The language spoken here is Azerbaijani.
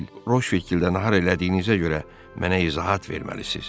Roşvilddə nahar elədiyinizə görə mənə izahat verməlisiniz.